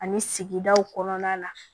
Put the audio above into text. Ani sigidaw kɔnɔna la